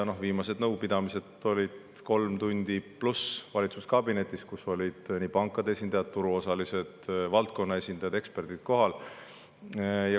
Viimased nõupidamised olid kolm pluss tundi valitsuskabinetis, kus olid kohal pankade esindajad, turuosalised, valdkonna esindajad ja eksperdid.